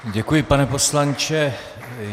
Děkuji, pane poslanče.